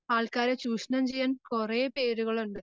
ആൾക്കാരെ ചൂഷണം ചെയ്യാൻ കൊറേ പേരുകളുണ്ട്.